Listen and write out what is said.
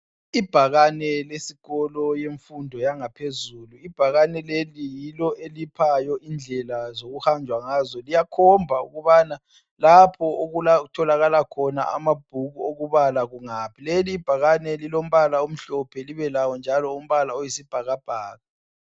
Ibhakane leskolo yemfundo yangaphezulu. Ibhakane leli yilo eliphayo indlela zokuhanjwa ngazo. Liyakhomba ukubana lapho okutholaka khona amabhuku okubala kungaphi. Leli ibhakane lilombala omhlophe libelawo njalo umbala oyisibhakabhaka.